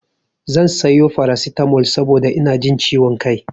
Zan sayo farasitamol saboda ina ji ciwo kai.